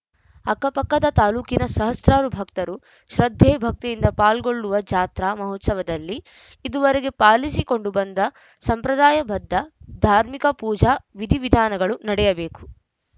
ಅಕ್ಕಪಕ್ಕದ ತಾಲೂಕಿನ ಸಹಸ್ರಾರು ಭಕ್ತರು ಶ್ರದ್ಧೆ ಭಕ್ತಿಯಿಂದ ಪಾಲ್ಗೊಳ್ಳುವ ಜಾತ್ರಾ ಮಹೋತ್ಸವದಲ್ಲಿ ಇದುವರೆಗೆ ಪಾಲಿಸಿಕೊಂಡು ಬಂದ ಸಂಪ್ರದಾಯಬದ್ದ ಧಾರ್ಮಿಕ ಪೂಜಾ ವಿಧಿವಿಧಾನಗಳು ನಡೆಯಬೇಕು